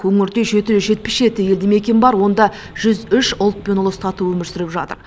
өңірде жеті жүз жетпіс жеті елді мекен бар онда жүз үш ұлт пен ұлыс тату өмір сүріп жатыр